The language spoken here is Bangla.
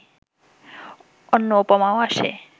অন্য উপমাও আসে